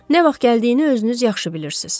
Nə vaxt gəldiyini özünüz yaxşı bilirsiniz.